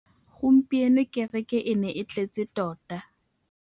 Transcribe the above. Gompieno kêrêkê e ne e tletse tota.